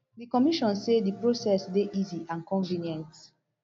di commission say di process dey easy and convenient